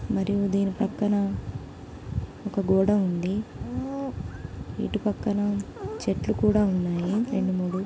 మరి ధీని పక్కన ఒక గోడ ఉంది ఇటు పక్కన చెట్లు కూడా ఉన్నాయి రెండు మూడు.